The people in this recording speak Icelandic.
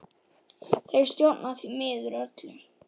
Þeir stjórna því miður öllu.